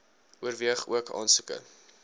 oorweeg ook aansoeke